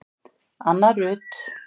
Anna Rut.